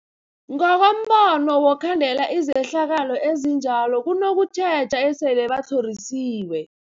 Ngokombono wokhandela izehlakalo ezinjalo kunokutjheja esele batlhorisiwe.